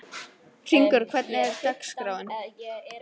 Hringur, hvernig er dagskráin?